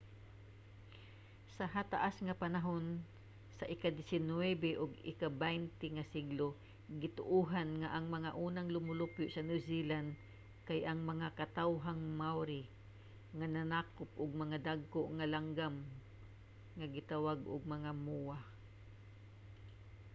sa hataas nga panahon sa ikadisinuybe ug ikabaynte nga siglo gituohan nga ang mga unang lumulupyo sa new zealand kay ang mga katawhang maori nga nanakop og mga dagko nga langgam nga gitawag og mga moa